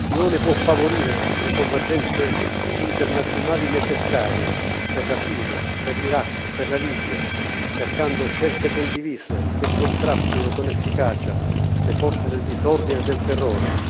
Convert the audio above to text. L'Unione può favorire le convergenze internazionali necessarie per la Siria, per l'Iraq, per la Libia, cercando scelte condivise che contrastino con efficacia le forze del disordine e del terrore.